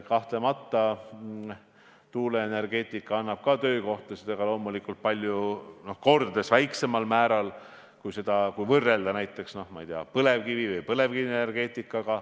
Kahtlemata annab tuuleenergeetika ka töökohtasid, aga loomulikult kordades väiksemal määral kui näiteks, ma ei tea, põlevkivienergeetika.